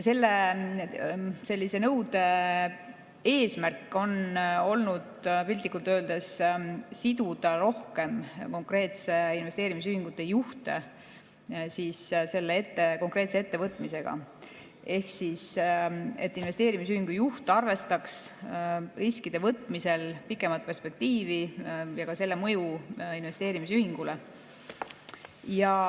Sellise nõude eesmärk on olnud piltlikult öeldes siduda investeerimisühingute juhte rohkem selle konkreetse ettevõtmisega ehk et investeerimisühingu juht arvestaks riskide võtmisel pikemat perspektiivi ja ka selle mõju investeerimisühingule.